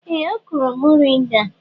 Ee! Ọ kụrụ mọrịnga.